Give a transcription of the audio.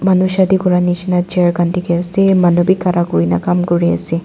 manu shadi kuria nishi na chair khan dikhi ase manu bi khara kuri ne kam kuri ase.